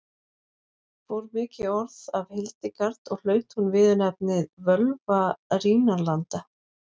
fór mikið orð af hildegard og hlaut hún viðurnefnið völva rínarlanda